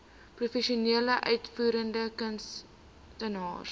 professionele uitvoerende kunstenaars